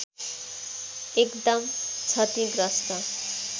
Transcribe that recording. एकदम क्षतिग्रस्त